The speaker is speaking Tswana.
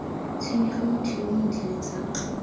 tshwenyege motho yo montle letsapa